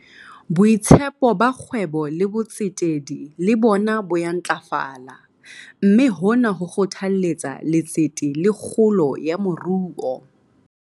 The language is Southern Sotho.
Boitshepo ba kgwebo le botsetedi le bona bo ya ntlafala, mme hona ho kgothalletsa letsete le kgolo ya moruo.